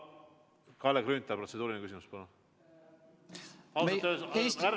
Kalle Grünthal, protseduuriline küsimus, palun!